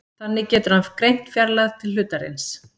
þannig getur hann greint fjarlægð til hlutarins